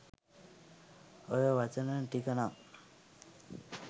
ඔය වචන ටික නම්